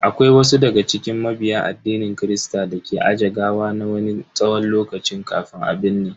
Akwai wasu daga cikin mabiya addinin kirista dake aje gawa na wani tsawon lokaci kafin a binne.